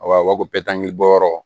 Awɔ u b'a fɔ ko bɔyɔrɔ